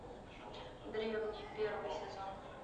древние первый сезон